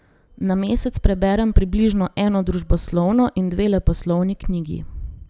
Na mesec preberem približno eno družboslovno in dve leposlovni knjigi.